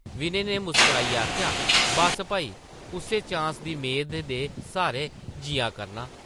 विनय नै मुस्कराइयै आखेआ, ‘‘बस्स भई, उस्सै चांस दी मेदा दे स्हारै जिया करनां ।’’